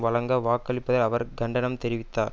வழங்க வாக்களிப்பை அவர் கண்டனம் தெரிவித்தார்